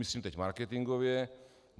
Myslím teď marketingově.